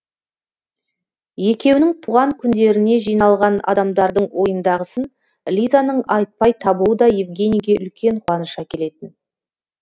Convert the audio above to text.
екеуінің туған күндеріне жиналған адамдардың ойындағысын лизаның айтпай табуы да евгенийге үлкен қуаныш әкелетін